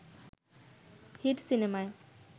hit সিনেমায়